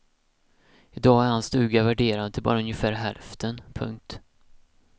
I dag är hans stuga värderad till bara ungefär hälften. punkt